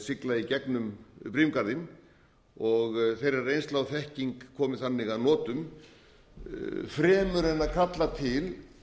sigla í gegnum brimgarðinn og þeirra reynsla og þekking komi þannig að notum fremur en kalla til